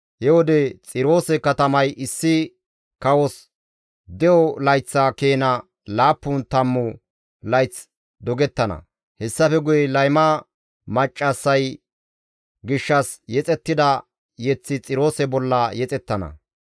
He wode Xiroose katamay issi kawos de7o layththa keena laappun tammu layth dogettana; hessafe guye layma maccassay gishshas yexettida yeththi Xiroose bolla yexettana.